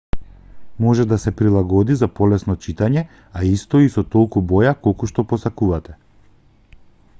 може да се прилагоди за полесно читање а исто и со толку боја колку што посакувате